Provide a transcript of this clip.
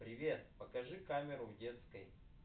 привет покажи камеру в детской